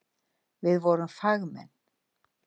Við vorum fagmenn.